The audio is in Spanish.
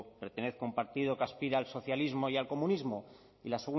pertenezco a un partido que aspira al socialismo y al comunismo y la